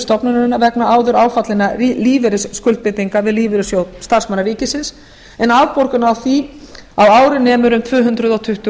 stofnunarinnar vegna áður áfallinna lífeyrisskuldbindinga við lífeyrissjóð starfsmanna ríkisins en afborgun á því á ári nemur um tvö hundruð tuttugu